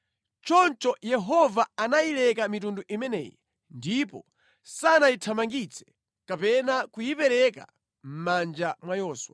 Choncho Yehova anayileka mitundu imeneyi ndipo sanayithamangitse kapena kuyipereka mʼmanja mwa Yoswa.